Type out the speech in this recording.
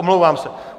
Omlouvám se.